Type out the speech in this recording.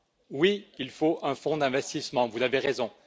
Oui, il faut un fonds d'investissement, vous avez raison.